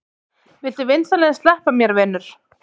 Viltu vinsamlegast sleppa mér, vinur!